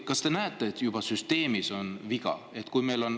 Kas te näete, et süsteemis on viga?